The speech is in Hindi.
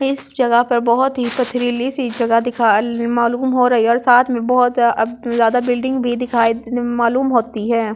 इस जगह पर बहुत ही पथरिली सी जगह दिखा मालूम हो रही है और साथ में बहुत अप बिल्डिंग भी दिखा मालूम अ होती है ।